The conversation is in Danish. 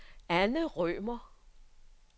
Anne Rømer